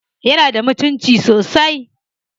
Yana da mutunci sosai?